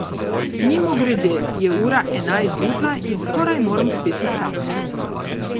Mimogrede je ura ena zjutraj in skoraj moram spet vstati.